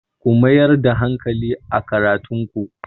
Ku mayar da hankali a karatun ku!